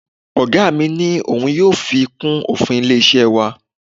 Oga mi ni ohun yóò fi kún òfin ilé-iṣẹ́ wa.